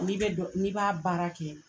N'i bɛ dɔn n'i b'a baara kɛ...